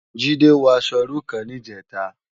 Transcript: Jide wò aṣò irú kán nijètá